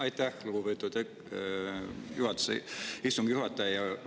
Aitäh, lugupeetud istungi juhataja!